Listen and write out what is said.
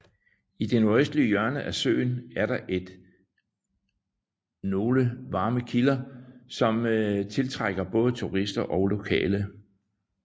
I det nordøstlige hjørne af søen er der et nogle varme kilder som til trækker både turister og lokale